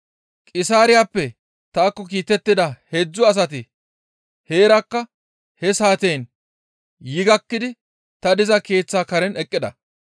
«Qisaariyappe taakko kiitettida heedzdzu asati heerakka he saateyin yi gakkidi ta diza keeththa karen eqqida.